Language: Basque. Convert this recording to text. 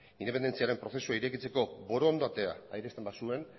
independentziaren prozesua irekitzeko borondatea adierazten bazuen